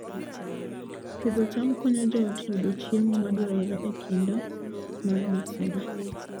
Pidho cham konyo joot yudo chiemo madwarore e kinde mag masira